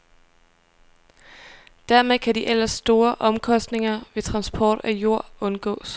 Dermed kan de ellers store omkostninger ved transport af jord undgås.